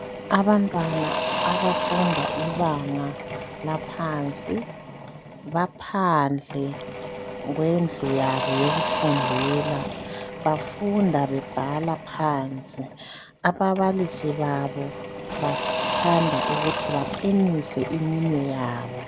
Abantwana abafunda ibanga laphansi baphandle kwendlu yabo yokufundela bafunda bebhala phansi. Ababalisi babo bathanda ukuthi baqinise iminwe yabo.